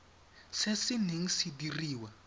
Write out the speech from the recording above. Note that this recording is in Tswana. se se neng se diriwa